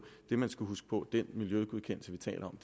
det man skal huske på er at den miljøgodkendelse vi taler om